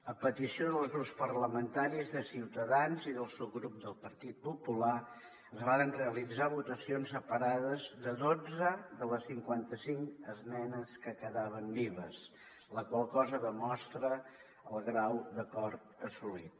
a petició dels grups parlamentaris de ciutadans i del subgrup del partit popular es varen realitzar votacions separades de dotze de les cinquanta cinc esmenes que quedaven vives la qual cosa demostra el grau d’acord assolit